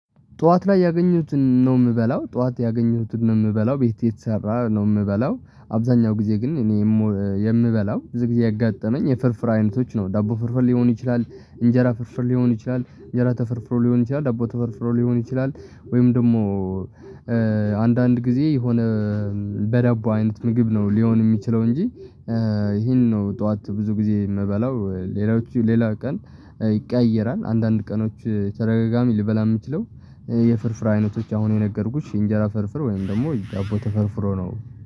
ጧት ላይ ያገኙትን ነው የምበላው ጧት ያገኙትን ነው የምበላው ቤቴ የተሰራ ነው የምበላው አብዛኛው ጊዜ ግን እኔ የምበላው ብዙ ጊዜ ያጋጠመኝ የፍርፍር አይነቶች ነው ዳቦ ፍርፍር ሊሆኑ ይችላል። እንጀራ ፍርፍር ሊሆኑ ይችላል የእንጀራ ተፈርፍሮ ሊሆን ይችላል ዳቦ ተፈርፍሮ ሊሆን ይችላል። ወይም ደግሞ አንዳንድ ጊዜ የሆነ በዳቦ አይነት ምግብ ነው ሊሆን የሚችለው እንጂ። ይሄን ነው ጠዋት ብዙ ጊዜ የምበላው። ሌላዎቹ ሌላ ቀን ይቀየራል አንዳንድ ቀኖች ተረጋጋሚ ልበላ የምችለው የፍርፍር አይነቶች አሁን የነገርኩሽ እንጀራ ፍርፍር ወይም ደግሞ ዳቦ ተፈርፍሮ ነው።